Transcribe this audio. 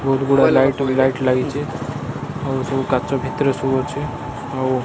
ବହୁତ ଗୁଡା ଲାଇଟି ଲାଗିଛି ଆଉ ସବୁ କାଚ ଭିତରେ ସବୁ ଅଛି ଆଉ --